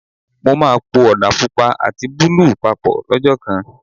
Mo máa po Ọ̀dà Pupa àti búlúù papọ̀ lọ́jọ́ kan.